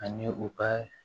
Ani u ka